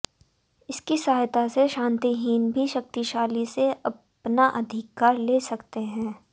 इसकी सहायता से शक्तिहीन भी शक्तिशाली से अपना अधिकार ले सकते हैं